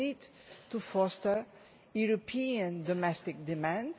We need to foster European domestic demand.